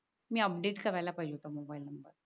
मी update करायला पाहिजे होता मोबाईल नंबर